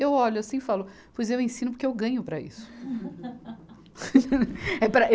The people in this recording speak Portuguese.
Eu olho assim e falo, pois eu ensino porque eu ganho para isso. É para